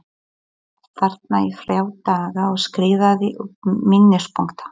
Ég sat þarna í þrjá daga og skrifaði upp minnispunkta.